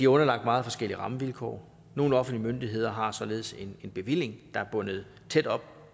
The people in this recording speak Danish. underlagt meget forskellige rammevilkår nogle offentlige myndigheder har således en bevilling der er bundet tæt op